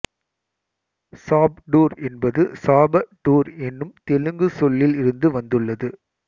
சாப்டூர் என்பது சாப டூர் என்னும் தெலுங்கு சொல்லில் இருந்து வந்துள்ளது